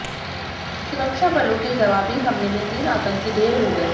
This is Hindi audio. सुरक्षा बलों के जवाबी हमले में तीन आतंकी ढेर हो गए